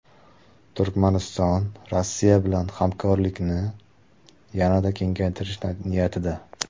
Turkmaniston Rossiya bilan hamkorlikni yanada kengaytirish niyatida.